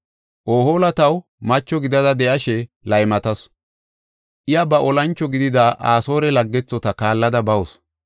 “Ohoola taw macho gidada de7ashe laymatasu; iya ba olancho gidida Asoore laggethota kaallada bawusu.